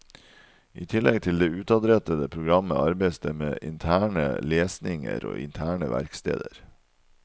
I tillegg til det utadrettede programmet, arbeides det med interne lesninger og interne verksteder.